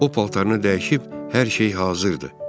O paltarını dəyişib, hər şey hazırdır.